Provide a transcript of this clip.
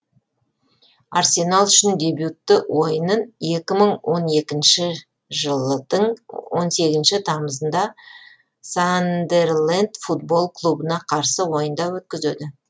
арсенал үшін дебютті ойынын екі мың он екінші жылдың он сегізінші тамызында сандерленд футбол клубына қарсы ойында өткізеді